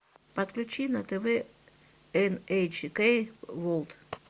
подключи на тв эн эйч кей ворлд